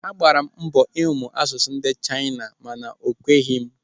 Agbara m mbọ ịmụ asụsụ ndị Chaina mana o kweghị m.